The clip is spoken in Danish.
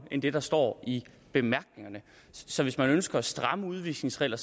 end det der står i bemærkningerne så hvis man ønsker at stramme udvisningsregler